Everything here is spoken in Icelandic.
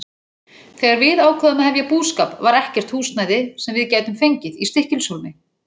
Þegar við ákváðum að hefja búskap var ekkert húsnæði, sem við gætum fengið, í Stykkishólmi.